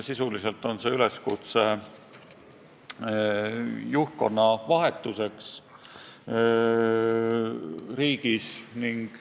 Sisuliselt on see üleskutse juhtkonna vahetuseks riigis.